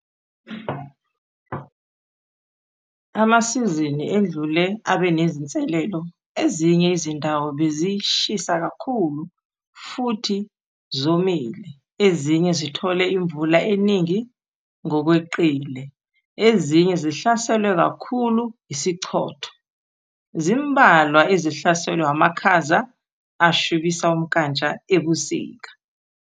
Amasizini edlule abenezinselelo - ezinye izindawo bezishisa kakhulu futhi zomile, ezinye zithole imvula eningi ngokweqile, ezinye zihlaselwe kakhulu yisichotho, zimbalwa ezihlaselwe amakhaza ashubisa umnkantsha ebusika.